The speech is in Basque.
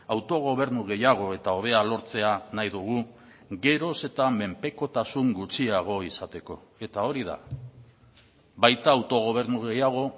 autogobernu gehiago eta hobea lortzea nahi dugu geroz eta menpekotasun gutxiago izateko eta hori da baita autogobernu gehiago